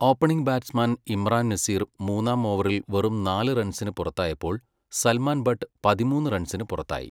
Opening batsman Imran Nazir മൂന്നാം ഓവറിൽ വെറും നാല് റൺസിന് പുറത്തായപ്പോൾ സൽമാൻ ബട്ട് പതിമൂന്ന് റൺസിന് പുറത്തായി.